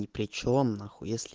и причём нахуй если